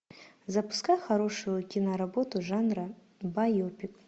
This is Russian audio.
запускай хорошую киноработу жанра байопик